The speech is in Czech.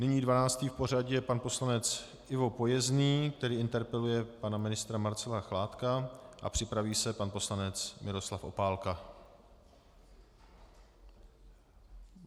Nyní dvanáctý v pořadí je pan poslanec Ivo Pojezný, který interpeluje pana ministra Marcela Chládka, a připraví se pan poslanec Miroslav Opálka.